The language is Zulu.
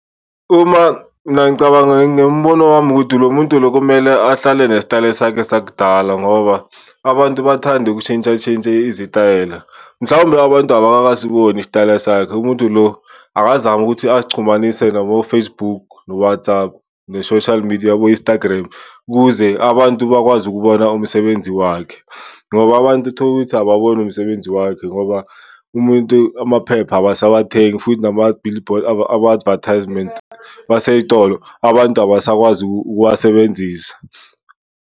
Uma mina ngicabanga ngembono wami ukuthi lo muntu lo kumele ahlale nesitayele sakhe sakudala ngoba abantu bathanda ukushintshatshentsha izitayela. Mhlawumbe abantu abakasiboni isitayela sakhe, umuntu lo akazame ukuthi azichumanise nabo-Facebook no-WhatsApp, ne-social media abo-Instagram ukuze abantu bakwazi ukubona umsebenzi wakhe. Ngoba abantu utholukuthi ababoni umsebenzi wakhe ngoba umuntu, amaphepha abasawathengi futhi nama-billboard, ama-advertisements baseyitolo abantu abasakwazi ukuwasebenzisa.